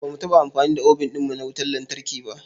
Ba mu taɓa amfani da obin ɗin mu na wautar lantarki ba.